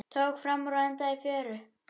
Tók framúr og endaði í fjöru